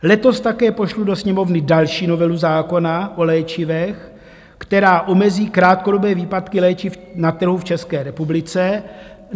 Letos také pošlu do Sněmovny další novelu zákona o léčivech, která omezí krátkodobé výpadky léčiv na trhu v České republice.